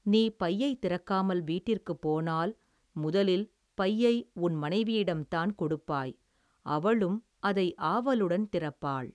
நீ பையைத் திறக்காமல் வீட்டிற்குப் போனால் முதலில் பையை உன் மனைவியிடம் தான் கொடுப்பாய் அவளும் அதை ஆவலுடன் திறப்பாள்.